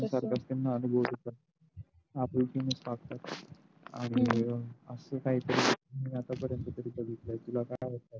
तसच असते न अनुभवतेच आपुलकेनेच वागतात आणि अस काहीतरी मी आता पर्यंत तरी बघितल